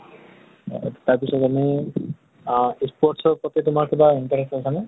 তাৰ পিছত আমি আহ sports ৰ প্ৰতি তোমাৰ কিবা interest আছে নে?